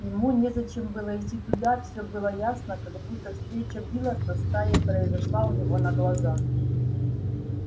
ему незачем было идти туда все было ясно как будто встреча билла со стаей произошла у него на глазах